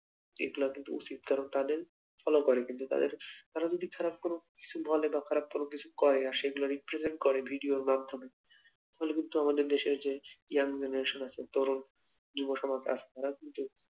এগুলা কিন্তু উচিত কারণ তাদের follow করে কিন্তু তাদের, তারা কিছু খারাপ যদি বলে বা খারাপ কিছু করে আর সেগুলো represent করে ভিডিওর মাধ্যমে তাহলে কিন্তু আমাদের দেশের যে young generation আছে যুব সমাজ তারা কিন্তু